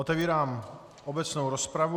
Otevírám obecnou rozpravu.